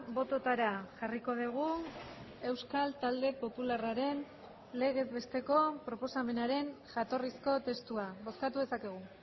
bototara jarriko dugu euskal talde popularraren legez besteko proposamenaren jatorrizko testua bozkatu dezakegu